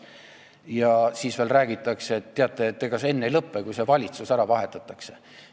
Ja siis veel räägitakse, et teate, ega see enne ei lõpe, kui seal valitsus ära vahetatakse.